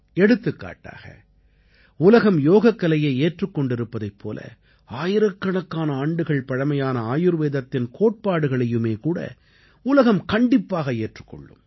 எடுத்துக்காட்டாக உலகம் யோகக்கலையை ஏற்றுக் கொண்டிருப்பதைப் போல ஆயிரக்கணக்கான ஆண்டுகள் பழமையான ஆயுர்வேதத்தின் கோட்பாடுகளையுமேகூட உலகம் கண்டிப்பாக ஏற்றுக் கொள்ளும்